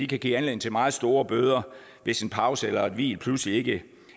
kan give anledning til meget store bøder hvis en pause eller et hvil lige pludselig ikke